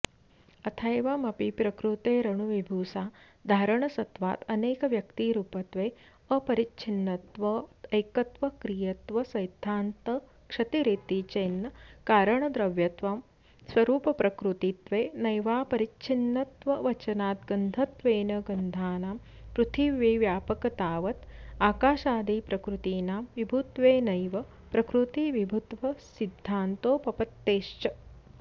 अथैवमपि प्रकृतेरणुविभुसाधारणसत्त्वाद्यनेकव्यक्तिरूपत्वे अपरिच्छिन्नत्वैकत्वाक्रियत्वसैद्धान्तक्षतिरिति चेन्न कारणद्रव्यत्वस्वरूपप्रकृतित्वेनैवापरिच्छिन्नत्ववचनाद्गन्धत्वेन गन्धानां पृथिवीव्यापकतावत् आकाशादिप्रकृतीनां विभुत्वेनैव प्रकृतिविभुत्वसिद्धान्तोपपत्तेश्च